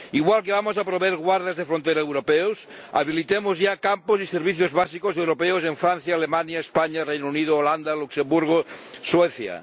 Igual que vamos a proveer guardas de frontera europeos, habilitemos ya campos y servicios básicos europeos en Francia, Alemania, España, Reino Unido, Holanda, Luxemburgo, Suecia.